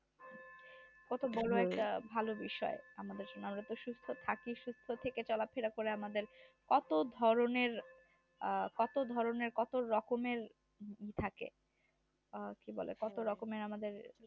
কত ভোরে একটা ভালো বিষয় সুস্থ থাকিস সুস্থ থাকার চলাকালী ন আমাদের অত ধরনের কত ধরনের কত রকমের থাকে আর কি বলে কত রকমের আমাদের